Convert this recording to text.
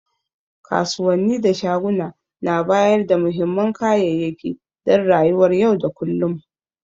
Kasuwanni da shaguna na bayarda muhimman kayayyaki dan rayuwar yau da kullum.